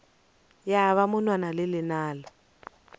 ya ba monwana le lenala